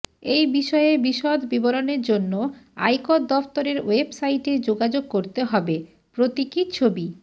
এই বিষয়ে বিশদ বিবরণের জন্য আয়কর দফতরের ওয়েবসাইটে যোগাযোগ করতে হবে প্রতীকী ছবি